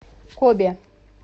кобе